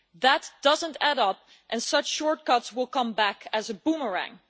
That does not add up, and such shortcuts will come back as a boomerang.